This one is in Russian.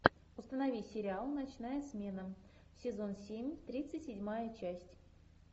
установи сериал ночная смена сезон семь тридцать седьмая часть